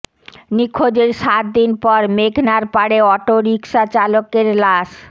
নিখোঁজের সাত দিন পর মেঘনার পাড়ে অটোরিকশা চালকের লাশ